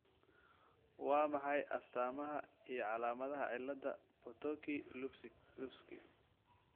Waa maxay astamaha iyo calaamadaha cilada Potocki Lupski ?